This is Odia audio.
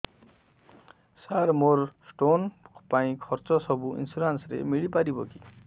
ସାର ମୋର ସ୍ଟୋନ ପାଇଁ ଖର୍ଚ୍ଚ ସବୁ ଇନ୍ସୁରେନ୍ସ ରେ ମିଳି ପାରିବ କି